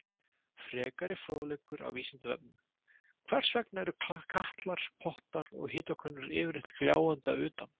Frekari fróðleikur á Vísindavefnum: Hvers vegna eru katlar, pottar og hitakönnur yfirleitt gljáandi að utan?